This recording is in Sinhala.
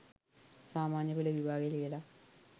සාමාන්‍ය පෙළ විභාගය ලියලා